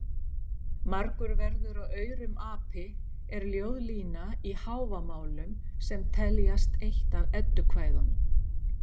Margur verður af aurum api er ljóðlína í Hávamálum sem teljast eitt af Eddukvæðum.